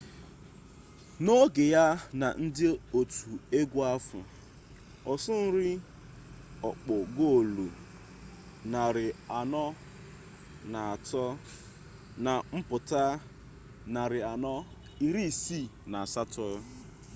na oge ya na ndi otu egu ahu osuiri okpo goolu 403 na mputa 468